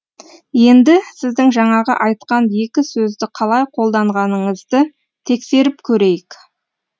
енді сіздің жаңағы айтқан екі сөзді қалай қолданғаныңызды тексеріп көрейік